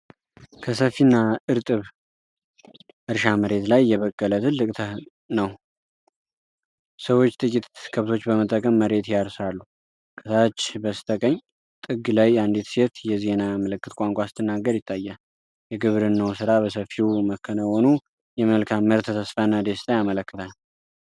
ከሰፊና እርጥብ እርሻ መሬት ላይ የበቀለ ተክል ነው። ሰዎች ጥቂት ከብቶች በመጠቀም መሬት ያርሳሉ። ከታች በስተቀኝ ጥግ ላይ አንዲት ሴት የዜና ምልክት ቋንቋ ስትናገር ይታያል። የግብርናው ስራ በሰፊው መከናወኑ የመልካም ምርት ተስፋና ደስታን ያመለክታል።